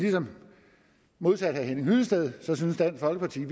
modsat herre henning hyllested synes dansk folkeparti